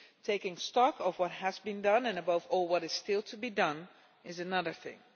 Taking stock of what has been done and, above all, what is still to be done is another thing.